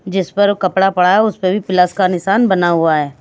जिस पर कपड़ा पड़ा है उस पे भी प्लस का निशान बना हुआ है।